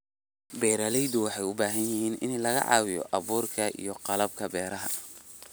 Beeralayda waxay u baahan yihiin in laga caawiyo abuurka iyo qalabka beeraha.